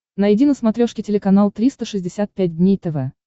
найди на смотрешке телеканал триста шестьдесят пять дней тв